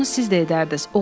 Bunu siz də edərdiniz.